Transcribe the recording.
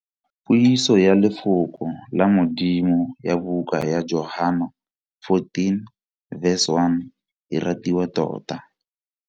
Puiso ya lefoko la Modimo ya buka ya Johana 14.1 e ratiwa tota.